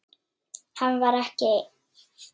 Hann var ekki einn.